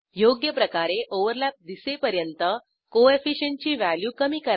योग्यप्रकारे ओव्हरलॅप दिसेपर्यंत कोएफिशियंट ची व्हॅल्यू कमी करा